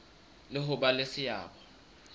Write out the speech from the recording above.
le ho ba le seabo